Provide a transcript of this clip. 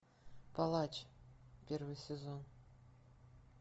палач первый сезон